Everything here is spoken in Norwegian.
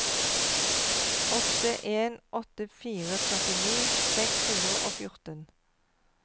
åtte en åtte fire førtini seks hundre og fjorten